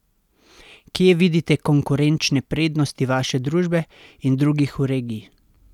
Kje vidite konkurenčne prednosti vaše družbe in drugih v regiji?